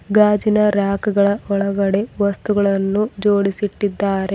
ಗಾಜಿನ ರ್ಯಕ್ ಗಳ ಒಳಗಡೆ ವಸ್ತುಗಳನ್ನು ಜೋಡಿಸಿ ಇಟ್ಟಿದ್ದಾರೆ.